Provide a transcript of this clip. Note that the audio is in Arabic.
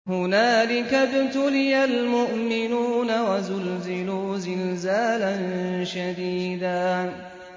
هُنَالِكَ ابْتُلِيَ الْمُؤْمِنُونَ وَزُلْزِلُوا زِلْزَالًا شَدِيدًا